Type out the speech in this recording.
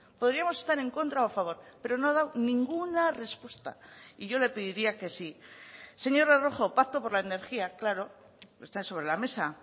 podríamos estar en contra o a favor pero no ha dado ninguna respuesta y yo le pediría que sí señora rojo pacto por la energía claro está sobre la mesa